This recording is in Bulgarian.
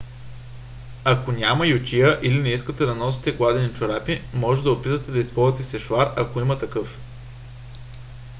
ако няма ютия или не искате да носите гладени чорапи можете да опитате да използвате сешоар ако има такъв